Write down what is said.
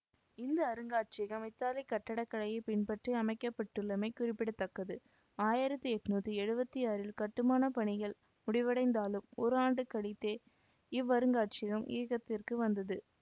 இந்த அருங்காட்சியகம் இத்தாலிய கட்டடக்கலையை பின்பற்றி அமைக்கப்பட்டுள்ளமை குறிப்பிட தக்கது ஆயிரத்தி எட்ணூத்தி எழுவத்தி ஆறில் கட்டுமான பணிகள் முடிவடைந்தாலும் ஒரு ஆண்டு கழிந்தே இவ்வருங்காட்சியகம் இயக்கத்திற்கு வந்தது